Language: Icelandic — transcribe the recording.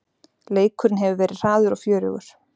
Leikurinn hefur verið hraður og fjörugur